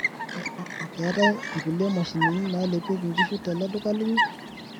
keetae nkulie mashinini nalepieki nkishu tele duka linyi